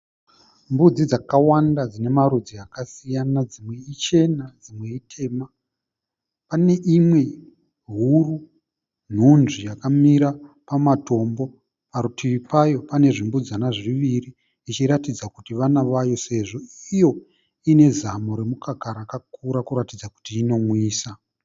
Mbudzi dzakawanda dzine marudzi akasiyana, dzimwe ichena dzimwe itema. Pane imwe huru, hunzvi yakamira pamatombo, parutivi payo pane zvimbudzana zviviri, zvichiratidza kuti vana vayo sezvo iyo ine zamu remukaka rakakura kuratidza kuti inonwisa.